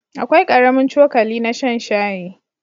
Akwai ƙaramin cokali na shan shayi.